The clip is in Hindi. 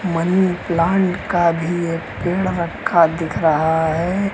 मनीप्लांट का भी एक पेड़ रखा दिख रहा हैं।